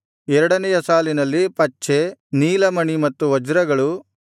ಎರಡನೆಯ ಸಾಲಿನಲ್ಲಿ ಪಚ್ಚೆ ನೀಲಮಣಿ ಮತ್ತು ವಜ್ರಗಳು